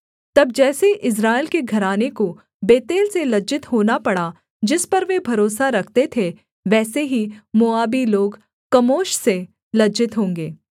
तब जैसे इस्राएल के घराने को बेतेल से लज्जित होना पड़ा जिस पर वे भरोसा रखते थे वैसे ही मोआबी लोग कमोश से लज्जित होंगे